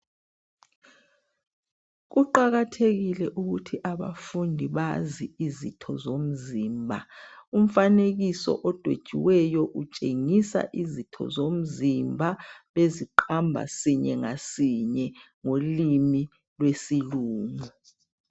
Kuqakathekile ukuthi abafundi bazi izitho zomzimba .Umfanekiso odwetshiweyo utshengisa izitho zomzimba beziqamba sinye ngasinye ngolimi lwesilungu.